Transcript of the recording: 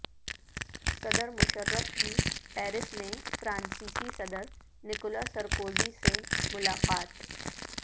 صدر مشرف کی پیرس میں فرانسیسی صدر نکولا سرکوزی سے ملاقات